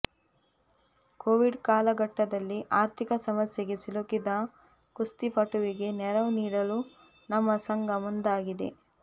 Covid ಕಾಲಘಟ್ಟದಲ್ಲಿ ಆರ್ಥಿಕ ಸಮಸ್ಯೆಗೆ ಸಿಲುಕಿದ ಕುಸ್ತಿ ಪಟುವಿಗೆ ನೆರವು ನೀಡಲು ನಮ್ಮ ಸಂಘ ಮುಂದಾಗಿದೆ